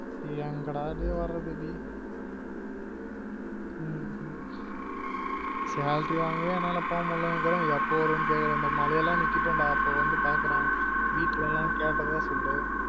எங்க டா டேயி வரது டேயி உம் salary வாங்கவே என்னால போ முட்லனு இருக்குறன் எப்ப வருவன்னு கேக்குற இந்த மழை எல்லாம் நிக்கட்டும் டா அப்போ வந்து பாக்குறன் வீட்டுல எல்லாம் கேட்டதா சொல்லு